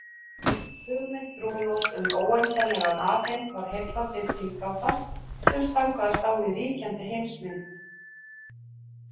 Hugmynd Brúnós um óendanlegan alheim var heillandi tilgáta sem stangaðist á við ríkjandi heimsmynd.